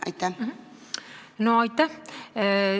Aitäh!